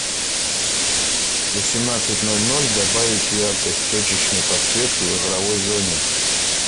в восемнадцать ноль ноль добавить яркость точечной подсветки в игровой зоне